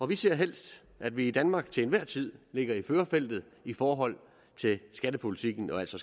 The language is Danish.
vi ser helst at vi i danmark til enhver tid ligger i førerfeltet i forhold til skattepolitikken og altså